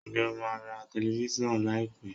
Ǹjẹ́ o máa ra telifíṣàn láì pé?